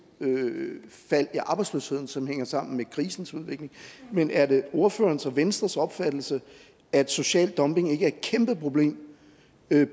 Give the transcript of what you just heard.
fald i arbejdsløsheden som hænger sammen med krisens udvikling men er det ordførerens og venstres opfattelse at social dumping ikke er et kæmpeproblem